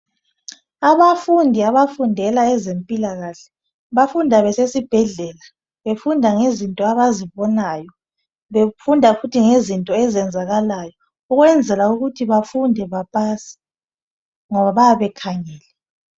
abafundi abafundela ezempilakahle bafunda besesibhedlela befunda ngezinto abazibonayo ,befunda futhi ngezinto ezenzakalayo ukwenzela ukuthi bafunde bapase ngoba bayabe bekhangele